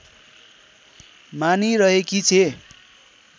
मानिरहेकी छे